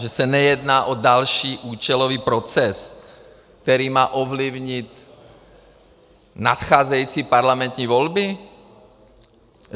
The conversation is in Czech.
Že se nejedná o další účelový proces, který má ovlivnit nadcházející parlamentní volby?